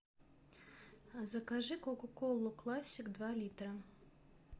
закажи кока колу классик два литра